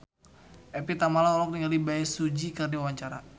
Evie Tamala olohok ningali Bae Su Ji keur diwawancara